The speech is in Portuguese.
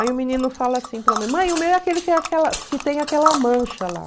Aí o menino fala assim para a mãe, mãe, o meu é aquele que que tem aquela mancha lá.